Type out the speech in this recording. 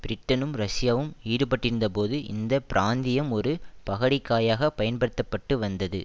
பிரிட்டனும் ரஷ்யாவும் ஈடுபட்டிருந்தபோது இந்த பிராந்தியம் ஒரு பகடைக் காயாக பயன்படுத்த பட்டு வந்தது